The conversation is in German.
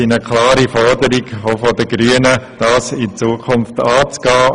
Die Grünen fordern, diese in Zukunft anzugehen.